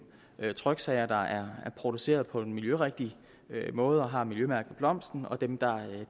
tryksager der er produceret på en miljørigtig måde og har miljømærket blomsten og dem